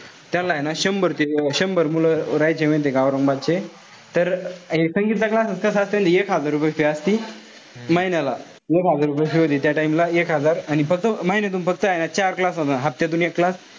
त्यान्ला ए ना शंभर ते शंभर मुलं राहायचे माहितीये का औरंगाबादचे. तर संगीतचा classes कसा असेल एक हजार रुपये असतील महिन्याला. एक हजार रुपये होते त्या time ला एक हजार. आणि फक्त महिन्यातून फक्त ए ना चार classes होता. हफ्त्यातून एक class.